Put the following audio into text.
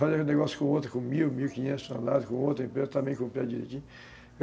Fazia negócio com outra, com mil, mil e quinhentos toneladas, com outra empresa, também cumpria direitinho.